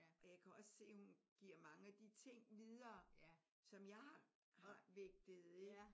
Og jeg kan også se at hun giver mange af de ting videre som jeg har har vægtet ik?